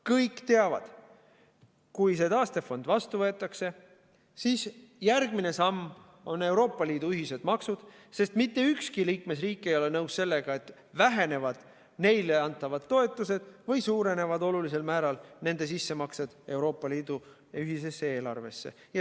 Kõik teavad: kui see taastefond vastu võetakse, siis järgmine samm on Euroopa Liidu ühised maksud, sest mitte ükski liikmesriik ei ole nõus sellega, et vähenevad neile antavad toetused või suurenevad olulisel määral nende sissemaksed Euroopa Liidu ühisesse eelarvesse.